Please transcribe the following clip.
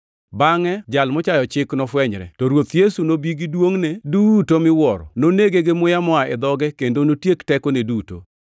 Bangʼe jal mochayo chik nofwenyre, to Ruoth Yesu nobi gi duongʼne duto miwuoro, nonege gi muya moa e dhoge kendo notiek tekone duto.